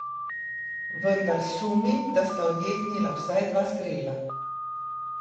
Vendar sumim, da sta odjeknila vsaj dva strela.